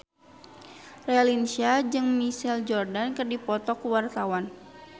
Raline Shah jeung Michael Jordan keur dipoto ku wartawan